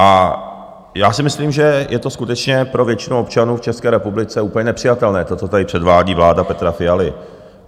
A já si myslím, že je to skutečně pro většinu občanů v České republice úplně nepřijatelné, to, co tady předvádí vláda Petra Fialy.